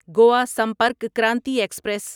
Goa Sampark Kranti express